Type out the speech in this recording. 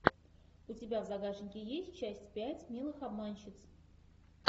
у тебя в загашнике есть часть пять милых обманщиц